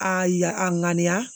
A ya a ŋaniya